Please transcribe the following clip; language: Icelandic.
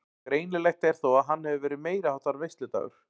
Greinilegt er þó að hann hefur verið meiriháttar veisludagur.